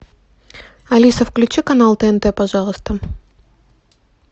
алиса включи канал тнт пожалуйста